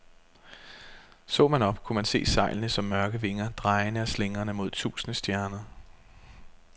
Så man op, kunne man se sejlene som mørke vinger, drejende og slingrende mod tusinde stjerner.